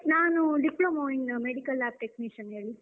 ನಾನೂ Diploma in Medical Technician ಹೇಳಿ.